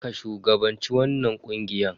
Ka shugabanci wannan ƙungiya.